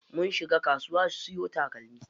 Mun shiga kasuwa siyo takalmi.